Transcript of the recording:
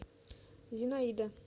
зинаида